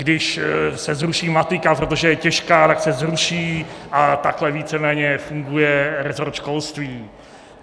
Když se zruší matika, protože je těžká, tak se zruší, a takhle víceméně funguje rezort školství.